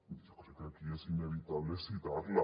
jo crec que aquí és inevitable citar la